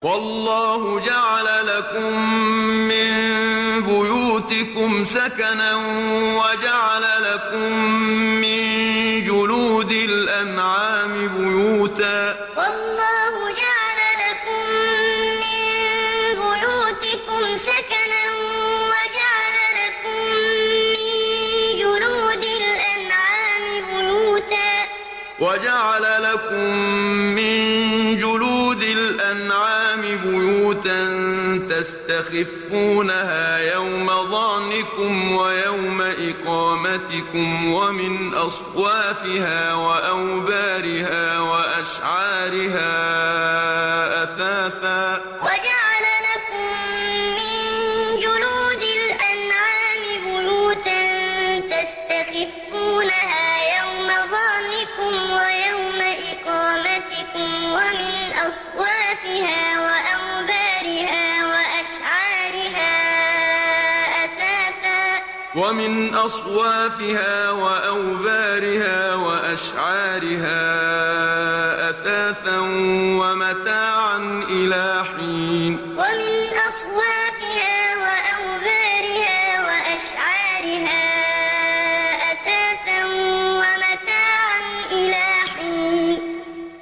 وَاللَّهُ جَعَلَ لَكُم مِّن بُيُوتِكُمْ سَكَنًا وَجَعَلَ لَكُم مِّن جُلُودِ الْأَنْعَامِ بُيُوتًا تَسْتَخِفُّونَهَا يَوْمَ ظَعْنِكُمْ وَيَوْمَ إِقَامَتِكُمْ ۙ وَمِنْ أَصْوَافِهَا وَأَوْبَارِهَا وَأَشْعَارِهَا أَثَاثًا وَمَتَاعًا إِلَىٰ حِينٍ وَاللَّهُ جَعَلَ لَكُم مِّن بُيُوتِكُمْ سَكَنًا وَجَعَلَ لَكُم مِّن جُلُودِ الْأَنْعَامِ بُيُوتًا تَسْتَخِفُّونَهَا يَوْمَ ظَعْنِكُمْ وَيَوْمَ إِقَامَتِكُمْ ۙ وَمِنْ أَصْوَافِهَا وَأَوْبَارِهَا وَأَشْعَارِهَا أَثَاثًا وَمَتَاعًا إِلَىٰ حِينٍ